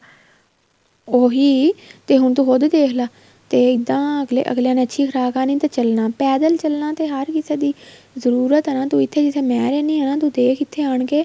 ਉਹੀ ਤੇ ਹੁਣ ਤੂੰ ਉਹਦੇ ਦੇਖ੍ਲਾ ਤੇ ਇੱਦਾਂ ਅੱਗਲਿਆਂ ਨੇ ਅੱਛੀ ਖ਼ੁਰਾਕ ਖਾਣੀ ਤੇ ਚੱਲਣਾ ਪੈਦਲ ਚੱਲਣਾ ਤਾਂ ਹਰ ਕਿਸੇ ਦੀ ਜਰੂਰਤ ਏ ਨਾ ਤੂੰ ਇੱਥੇ ਜਿੱਥੇ ਮੈਂ ਰਹਿੰਦੀ ਆ ਤੂੰ ਦੇਖ ਇੱਥੇ ਆਨ ਕੇ